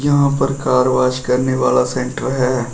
यहां पर car wash करने वाला सेंटर है।